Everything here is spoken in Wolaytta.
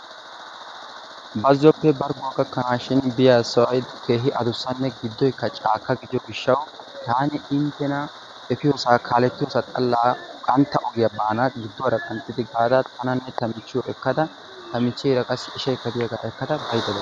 bazzoppe bargguwa gakkanashin biya sohoy keehi adusanne gidoykka caakka gidiyo gishawu tani intena efiyoosaa xalaa qantta ogiya baana giduwaara kanttidi baana tananne ta michiyo ekkada ta micheera qa ishaykka diyaaga ekkada baydda days